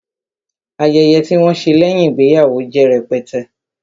Ayẹyẹ tí wọn ṣe lẹ́yìn ìgbéyàwó jẹ́ rẹpẹtẹ